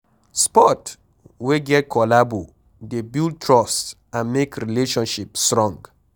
Sport wey get collabo dey build trust and make relationship strong